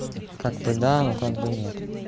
как бы да но как бы нет